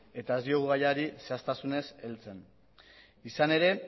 eta ez diogu gaiari zehaztasunez heltzen izan ere